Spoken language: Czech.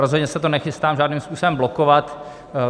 Rozhodně se to nechystám žádným způsobem blokovat.